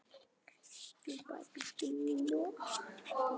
Þetta voru góðir dagar.